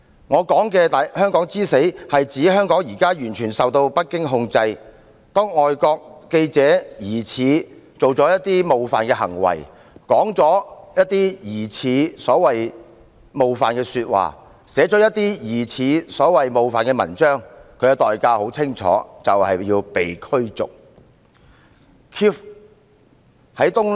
我所說的香港之死，是指香港已完全受北京控制，當外國記者疑似做了一些冒犯行為、說了一些疑似冒犯的說話、寫了一些疑似冒犯的文章，他的代價很清楚，就是被逐出境。